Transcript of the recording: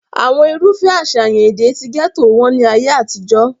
àwọn irúfẹ́ àṣàyàn èdè ti gẹ́tò wọ́n ní ayé àtijọ́